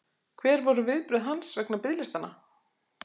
Hver voru viðbrögð hans vegna biðlistanna?